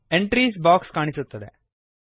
entries box ಕಾಣಿಸುತ್ತದೆ